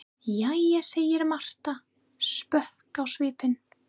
Jæja, segir Marta, sposk á svipinn.